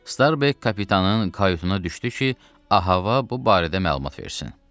Starbek kapitanın kayutuna düşdü ki, Av hava bu barədə məlumat versin.